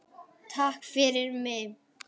Takk fyrir mig.